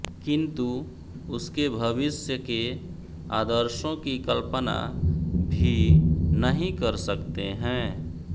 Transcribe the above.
किन्तु उसके भविष्य के आदर्शों की कल्पना भी नहीं कर सकते हैं